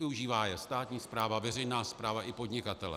Využívá je státní správa, veřejná správa i podnikatelé.